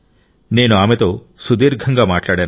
నేను ఆమెతో సుదీర్ఘంగా మాట్లాడాను